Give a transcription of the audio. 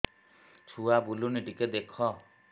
ଛୁଆ ବୁଲୁନି ଟିକେ ଦେଖ